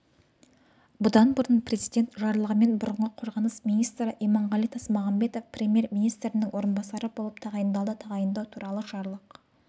бұдан бұрын президент жарлығымен бұрынғы қорғаныс министрі иманғали тасмағамбетов премьер-министрінің орынбасары болып тағайындалды тағайындау туралы жарлық